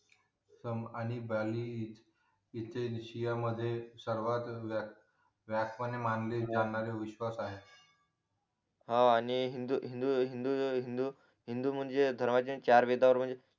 सम आणि ब्येअली हि इथे रशिया मध्ये सर्वात वाह्य व्याकपणे मानली जाणारी विश्वास आहे हा आणि हिंदू हिंदू हिंदू हिंदू हिंदू म्हणजे धर्माचे चार वेदांवर